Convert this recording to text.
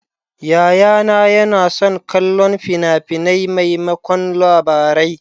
Yayana yana son kallon fina-finai maimakon Labarai.